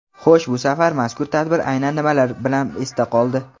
Xo‘sh bu safar mazkur tadbir aynan nimalari bilan esda qoldi?.